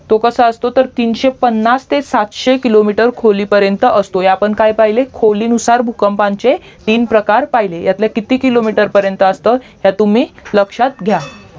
तो कसा असतो तर तीनशे पन्नास ते सातशे किलोमीटर खोली पर्यंत असतो आपण काय पहिले खोली नुसार भूकंपाचे तीन प्रकार पहिले यातले किती किलोमीटर पर्यंत असतं तर तुम्ही लक्षात घ्या